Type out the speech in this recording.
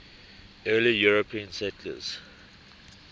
early european settlers